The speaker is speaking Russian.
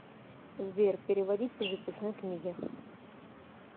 сбер переводить по записной книге